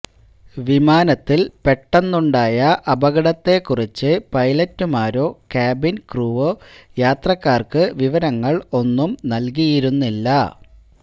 വിമാനത്തിൽ പെട്ടന്നുണ്ടായ അപകടത്തെ കുറിച്ച് പൈലറ്റുമാരോ ക്യാബിൻ ക്രൂവോ യാത്രക്കാർക്ക് വിവരങ്ങൾ ഒന്നും നൽകിയിരുന്നില്ല